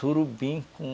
Surubim com...